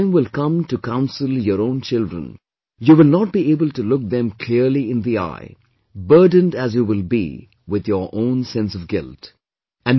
When the time will come to counsel your own children, you will not be able to look them clearly in the eye, burdened as you will be with your own sense of guilt